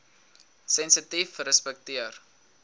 sensitiefrespekteer